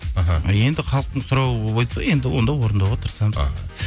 іхі енді халықтың сұрауы енді онда орындауға тырысамыз іхі